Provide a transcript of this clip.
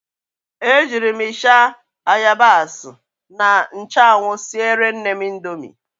E jiiri m ịsha, ayabas na nchụanwụ siere nnem indomi.